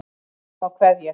Og þá kveð ég.